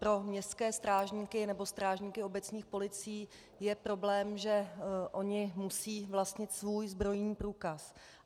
Pro městské strážníky nebo strážníky obecních policií je problém, že oni musí vlastnit svůj zbrojní průkaz.